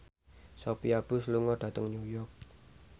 Sophia Bush lunga dhateng New York